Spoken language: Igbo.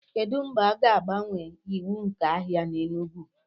kedu mgbe a ga-agbanwe iwu nke ahịa na enugu